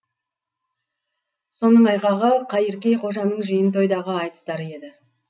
соның айғағы қайыркей қожаның жиын тойдағы айтыстары еді